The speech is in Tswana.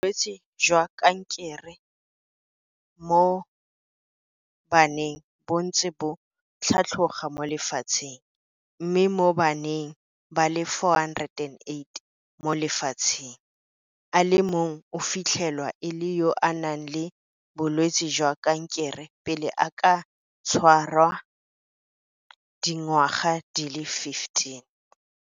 Bolwetse jwa kanke re mo baneng bo ntse bo tlhatloga mo lefatsheng, mme mo baneng ba le 408 mo lefatsheng, a le mong go fitlhelwa e le yo a nang le bolwetse jwa kankere pele a ka tshwara dingwaga di le 15.